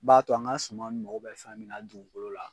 b'a to an ka suma nun mago bɛ fɛn min na dugukolo la.